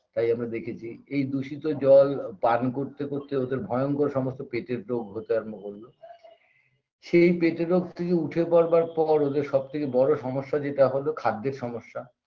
তাই আমরা দেখেছি এই দূষিত জল পান করতে করতে ওদের ভয়ঙ্কর সমস্ত পেটের রোগ হতে আরম্ভ করল সেই পেটের রোগ থেকে উঠে পরবার পর ওদের সবথেকে বড়ো সমস্যা যেটা হলো খাদ্যের সমস্যা